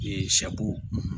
sɛ bo